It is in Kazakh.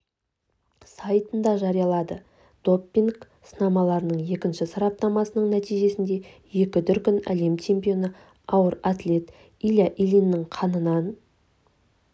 сайтында жариялады допинг-сынамаларының екінші сараптамасының нәтижесінде екі дүркін әлем чемпионы ауыр атлет илья ильиннің қанынан